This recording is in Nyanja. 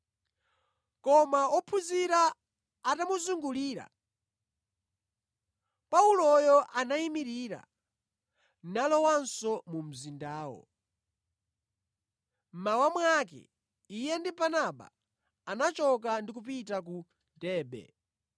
Koma ophunzira atamuzungulira, Pauloyo anayimirira nalowanso mu mzindawo. Mmawa mwake iye ndi Barnaba anachoka ndi kupita ku Derbe.